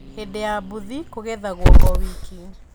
Hindĩ ya bũthi kũgethagwo o wiki.